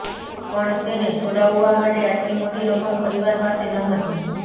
પણ તેને છોડાવવા માટે આટલી મોટી રકમ પરિવાર પાસે ન હતી